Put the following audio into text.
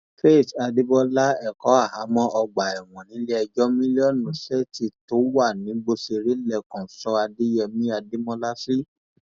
faith adébọlá ẹkọ ahamo ọgbà ẹwọn nílẹẹjọ millionseetí tó wà nìgbòsẹrẹ lẹkọọ sọ adéyẹmi adémọlá sí